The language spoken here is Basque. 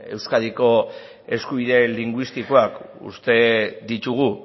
euskadiko eskubide linguistikoak uste ditugu